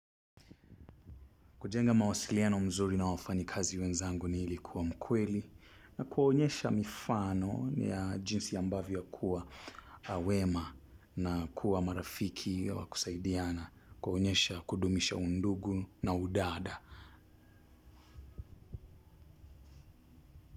Kujenga mawasiliano mzuri na wafanyikazi wenzangu ni ilikuwa mkweli na kuwaonyesha mifano ni ya jinsi ambavyo kuwa wema na kuwa marafiki wa kusaidiana kuwaonyesha kudumisha undugu na udada.